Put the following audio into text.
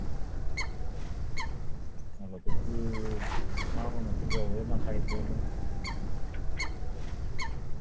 હાલો પછી અ નાણાંનો ફુગાવો એમાં કે છે નય